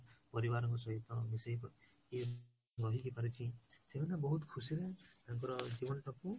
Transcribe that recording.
ପରିବାରଙ୍କ ସହିତ ମିଶିକି ରହିକି ପାରିଛି ସେମାନେ ବହୁତ ଖୁସିରେ ତାଙ୍କର ଜୀବନଟାକୁ